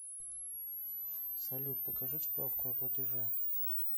салют покажи справку о платеже